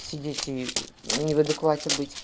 сидеть и не в адеквате быть